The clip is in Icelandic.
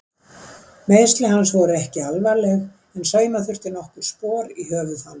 Meiðsli hans eru ekki alvarleg en sauma þurfti nokkur spor í höfuð hans.